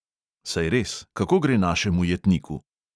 Saj res, kako gre našemu jetniku?